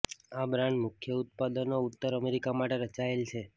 આ બ્રાન્ડ મુખ્ય ઉત્પાદનો ઉત્તર અમેરિકા માટે રચાયેલ છે